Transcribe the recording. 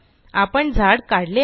आपण झाड काढले आहे